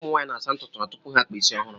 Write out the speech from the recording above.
ụmụ nwaanyị na-asa ntụtụ ha tupu ha akpa isi ọhụrụ